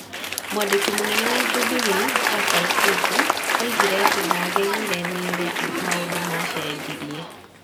Mwandĩki mũnene wa Jubilee, Raphael Tuju, oigire atĩ ndaagegire nĩ ũrĩa maũndũ maacenjirie.